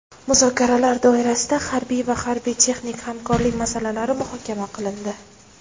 Muzokaralar doirasida harbiy va harbiy-texnik hamkorlik masalalari muhokama qilindi.